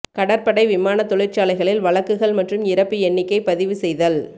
கடற்படை விமான தொழிற்சாலைகளில் வழக்குகள் மற்றும் இறப்பு எண்ணிக்கை பதிவு செய்தல்